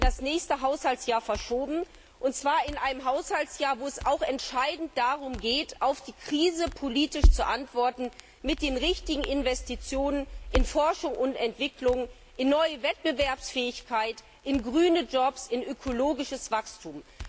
Euro werden in das nächste Haushaltsjahr verschoben, und zwar in einem Haushaltsjahr, wo es auch entscheidend darum geht, auf die Krise politisch zu antworten, mit den richtigen Investitionen in Forschung und Entwicklung, in neue Wettbewerbsfähigkeit, in grüne Jobs, in ökologisches Wachstum.